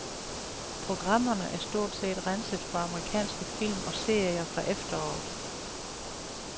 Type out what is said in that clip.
Programmerne er stort set renset for amerikanske film og serier fra efteråret.